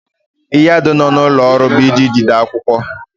Nyado nọ n'ụlọ ọrụ bụ ịji jide akwụkwọ.